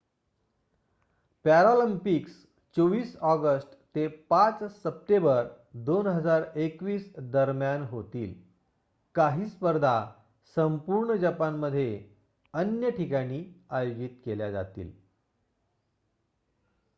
Paralympics 24 August ते 5 September 2021 दरम्यान होतील काही स्पर्धा संपूर्ण जपानमध्ये अन्य ठिकाणी आयोजित केल्या जातील